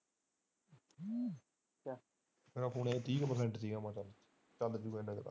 ਚੱਲ ਹੁਣ ਇਹਨਾਂ ਦਾ